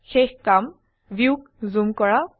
শেষ কাৰ্জ ভিউক জুম কৰা